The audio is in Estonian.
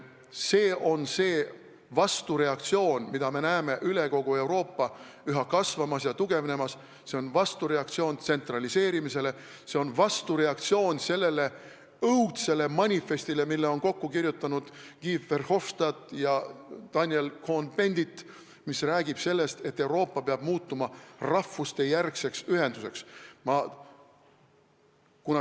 See on see vastureaktsioon, mida me näeme üle kogu Euroopa üha kasvamas ja tugevnemas, see on vastureaktsioon tsentraliseerimisele, see on vastureaktsioon sellele õudsele manifestile, mille on kokku kirjutanud Guy Verhofstadt ja Daniel Cohn-Bendit, mis räägib sellest, et Euroopa peab muutuma rahvustejärgseks ühenduseks.